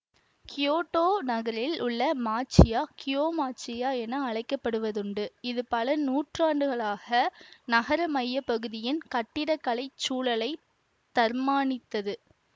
Kyoto நகரில் உள்ள மாச்சியா கியோமாச்சியா என அழைக்கப்படுவதுண்டு இது பல நூற்றாண்டுகளாக நகர மையப்பகுதியின் கட்டிடக்கலைச் சூழலைத் தர்மானித்தது